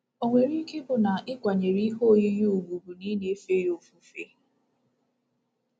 O nwere ike ịbụ na ịkwanyere ihe oyiyi ùgwù bụ na ị na-efe ya ofufe?